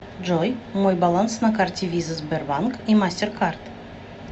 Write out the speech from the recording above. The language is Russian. джой мой баланс на карте виза сбербанк и мастеркард